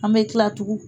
An bɛ kila tugun